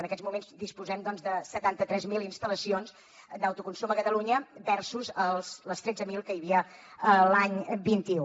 en aquests moments disposem doncs de setanta tres mil instal·lacions d’autoconsum a catalunya versus les tretze mil que hi havia l’any vint un